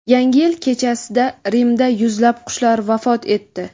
Yangi yil kechasida Rimda yuzlab qushlar vafot etdi.